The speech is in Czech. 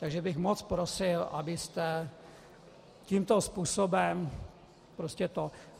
Takže bych moc prosil, abyste tímto způsobem prostě to...